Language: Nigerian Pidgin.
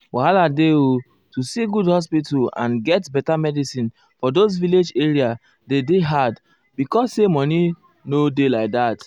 wahala dey o to see good hospital and get um beta medicin for those village area dey dey hard because say money nor dey like that.